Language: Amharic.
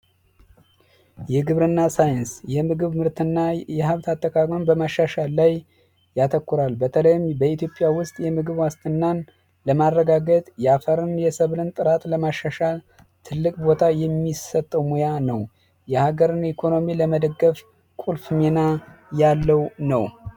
የግብርና ሳይንስ የምግብ ምርትና የሃብት አጠቃቀም በማሻሻል ላይ ያተኩራል በተለይም በኢትዮጵያ ውስጥ የምግብ ዋስትናን ለማረጋገጥ የአፈርን የብለን ጥራት ለማሻሻል ትልቅ ቦታ የሚሰጠው ሙያ ነው ኢኮኖሚና ያለው ነው